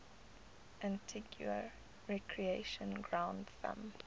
antigua recreation ground thumb